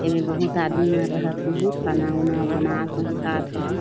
ऐमे बहूत आदमी मन रहत होही खाना ऊना बनात होही खात होही।